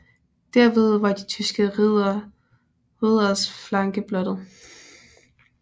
Dermed var de tyske ridderes flanke blottet